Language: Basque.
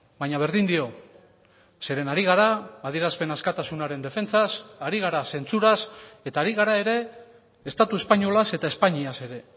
baina berdin dio zeren ari gara adierazpen askatasunaren defentsaz ari gara zentsuraz eta ari gara ere estatu espainolaz eta espainiaz ere